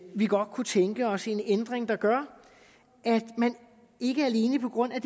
vi godt kunne tænke os en ændring der gør at man ikke alene på grund af